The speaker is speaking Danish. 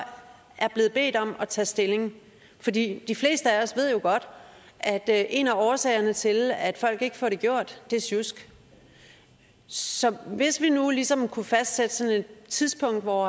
er blevet bedt om at tage stilling for de de fleste af os ved jo godt at en af årsagerne til at folk ikke får det gjort er sjusk så hvis vi nu ligesom kunne fastsætte sådan et tidspunkt hvor